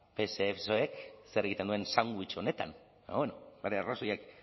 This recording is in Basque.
psek zer egiten duen sandwich honetan baina bueno bere arrazoiak